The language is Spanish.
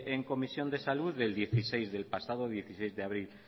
en comisión de salud del pasado dieciséis de abril